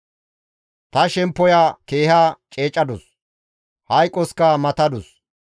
«Ta shemppoya keeha ceecadus; hayqoska matadus.